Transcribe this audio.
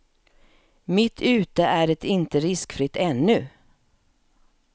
Mitt ute är det inte riskfritt ännu.